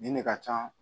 Nin de ka can